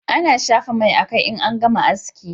A na shafa mai a kai in an gama haski